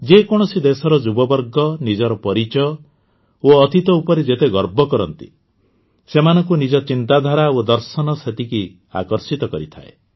ଯେ କୌଣସି ଦେଶର ଯୁବବର୍ଗ ନିଜର ପରିଚୟ ଓ ଅତୀତ ଉପରେ ଯେତେ ଗର୍ବ କରନ୍ତି ସେମାନଙ୍କୁ ନିଜ ଚିନ୍ତାଧାରା ଓ ଦର୍ଶନ ସେତିକି ଆକର୍ଷିତ କରିଥାଏ